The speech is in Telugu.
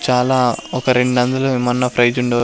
చాలా ఒక రెండొందలు ఏమన్నా ప్రైజ్ ఉండు.